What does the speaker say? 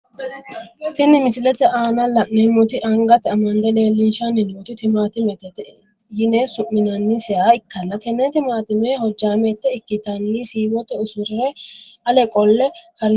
Tini misilete aana la`neemoti angate amade leelishani nooti timaatimete yine su`minaniseha ikkanna tene timatime hojaameete ikitanna siiwote usure ale qole harinsani.